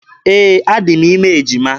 Ee, adị m ime ejima.